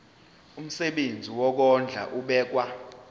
umsebenzi wokondla ubekwa